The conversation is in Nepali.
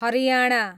हरियाणा